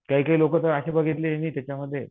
काही काही लोकं तर अशी बघितली मी त्याच्यामध्ये